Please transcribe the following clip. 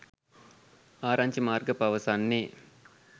ආරංචි මාර්ග පවසන්නේ